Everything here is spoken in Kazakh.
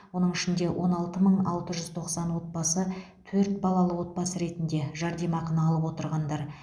оның ішінде он алты мың алты жүз тоқсан отбасы төрт балалы отбасы ретінде жәрдемақыны алып отырғандар